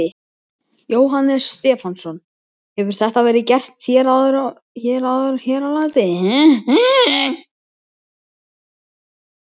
Jóhannes Stefánsson: Hefur þetta verið gert áður hér á landi?